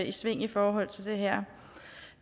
i sving i forhold til det her